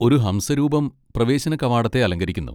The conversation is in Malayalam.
ഒരു ഹംസ രൂപം പ്രവേശന കവാടത്തെ അലങ്കരിക്കുന്നു.